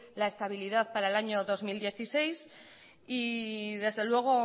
la estabilidad para el año dos mil dieciséis y desde luego